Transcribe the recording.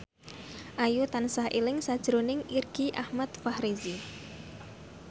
Ayu tansah eling sakjroning Irgi Ahmad Fahrezi